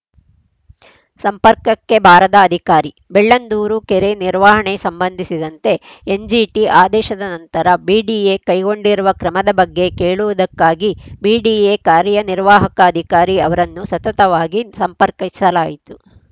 ಸಂಪರ್ಕಕ್ಕೆ ಬಾರದ ಅಧಿಕಾರಿ ಬೆಳ್ಳಂದೂರು ಕೆರೆ ನಿರ್ವಹಣೆ ಸಂಬಂಧಿಸಿದಂತೆ ಎನ್‌ಜಿಟಿ ಆದೇಶದ ನಂತರ ಬಿಡಿಎ ಕೈಗೊಂಡಿರುವ ಕ್ರಮದ ಬಗ್ಗೆ ಕೇಳುವುದಕ್ಕಾಗಿ ಬಿಡಿಎ ಕಾರ್ಯ ನಿರ್ವಾಹಕ ಅಧಿಕಾರಿ ಅವರನ್ನು ಸತತವಾಗಿ ಸಂಪರ್ಕಿಸಲಾಯಿತು